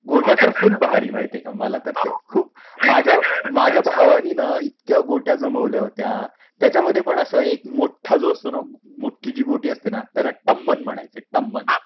गोट्या तर फुल भारी, माहिती आहे का? मला तर ते खूप. माझ्या भावाने तर इतक्या गोट्या जमवल्या होत्या त्याच्यामध्ये पण सर्वात मोठी मोठी असेल तर त्याला पण टम्मन म्हणायचे टम्मन.